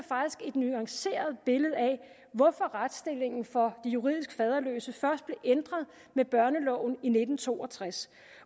nuanceret billede af hvorfor retsstillingen for de juridisk faderløse først blev ændret med børneloven i nitten to og tres